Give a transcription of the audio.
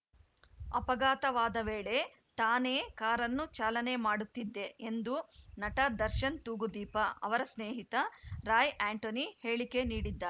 ಅಪಘಾತವಾದ ವೇಳೆ ತಾನೇ ಕಾರನ್ನು ಚಾಲನೆ ಮಾಡುತ್ತಿದ್ದೆ ಎಂದು ನಟ ದರ್ಶನ್‌ ತೂಗುದೀಪ ಅವರ ಸ್ನೇಹಿತ ರಾಯ್‌ ಆಂಟೋನಿ ಹೇಳಿಕೆ ನೀಡಿದ್ದಾ